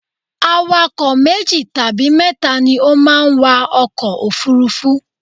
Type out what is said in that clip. Awakọ̀ meji tabi mẹ́ta ni o ma n wa ọkọ̀ òfurufú